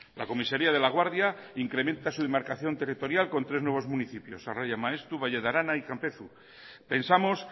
la comisaria de laguardia incrementa su demarcación territorial con tres nuevos municipios arraia maeztu valle de arana y campezo pensamos